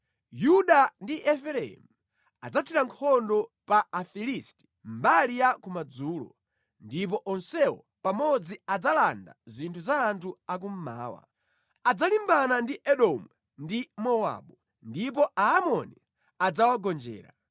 Yuda ndi Efereimu adzathira nkhondo pa Afilisti mbali ya kumadzulo; ndipo onsewo pamodzi adzalanda zinthu za anthu a kummawa. Adzalimbana ndi Edomu ndi Mowabu, ndipo Aamoni adzawagonjera.